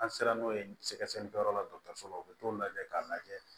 An sera n'o ye sɛgɛsɛgɛlikɛyɔrɔ la dɔgɔtɔrɔso la u bɛ t'o lajɛ k'a lajɛ